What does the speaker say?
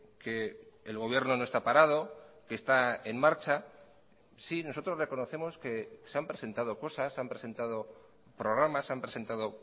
que el gobierno no está parado que está en marcha sí nosotros reconocemos que se han presentado cosas han presentado programas han presentado